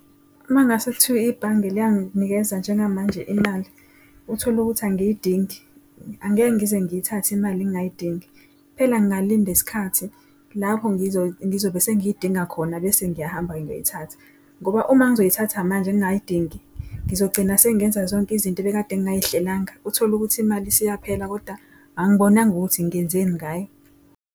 Uma kungase kuthiwe ibhange liyanginikeza njengamanje imali uthole ukuthi angiyidingi, angeke ngize ngiyithathe imali ngingayidingi. Kuphela ngingalinda isikhathi lapho ngizobe sengiyidinga khona bese ngiyahamba-ke ngiyoyithatha. Ngoba uma ngizoyithatha manje ngingayidingi ngizogcina sengenza zonke izinto ebekade ngingay'hlelanga. Uthole ukuthi imali isiyaphela koda angibonanga ukuthi ngenzeni ngayo.